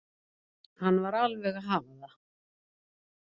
Hann var alveg að hafa það.